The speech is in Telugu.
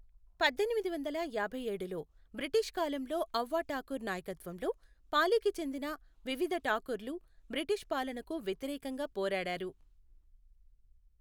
పద్దెనిమిది వందల యాభై ఏడులో బ్రిటిష్ కాలంలో ఔవా ఠాకూర్ నాయకత్వంలో పాలీకి చెందిన వివిధ ఠాకూర్ లు బ్రిటిష్ పాలనకు వ్యతిరేకంగా పోరాడారు.